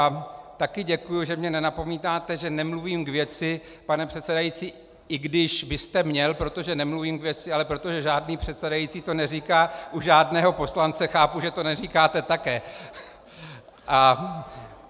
A také děkuji, že mě nenapomínáte, že nemluvím k věci, pane předsedající, i když byste měl, protože nemluvím k věci, ale protože žádný předsedající to neříká u žádného poslance, chápu, že to neříkáte také.